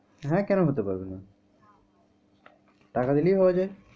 হ্যাঁ কেন হতে পারবেনা? টাকা দিলেই হওয়া যায়।